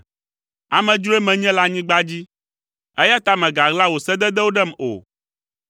Amedzroe menye le anyigba dzi, eya ta mègaɣla wò sededewo ɖem o.